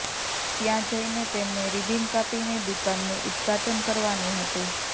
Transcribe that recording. ત્યાં જઇને તેમને રિબીન કાપીને દુકાનનું ઉદ્ઘાટન કરવાનું હતુ